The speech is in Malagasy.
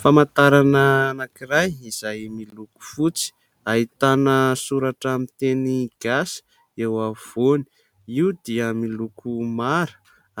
Famantarana anankiray izay miloko fotsy : ahitana soratra miteny gasy eo afovoany io dia miloko mara